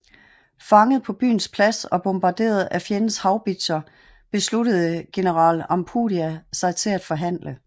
Fanget på byens plads og bombarderet af fjendens haubitser besluttede general Ampudia sig til at forhandle